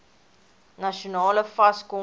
nasionale fas kongres